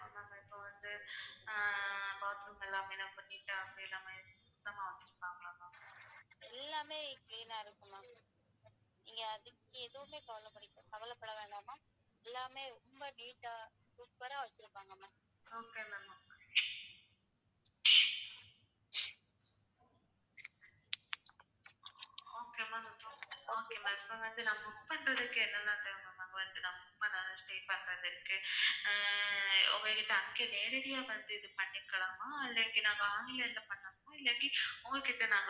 உங்ககிட்ட அங்க நேரடியா வந்து பண்ணிக்கலாமா? இல்லாட்டி நாங்க online ல பண்ணனுமா? இல்லாட்டி உங்ககிட்ட நானு.